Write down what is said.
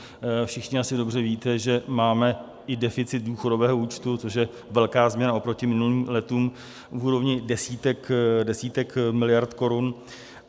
Všichni asi dobře víte, že máme i deficit důchodového účtu, což je velká změna oproti minulým letům v úrovni desítek miliard korun.